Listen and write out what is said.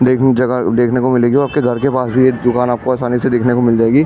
देखने की जगह देखने को मिलेगी और आपके घर के पास भी एक दुकान आपको आसान से देखने को मिल जाएगी।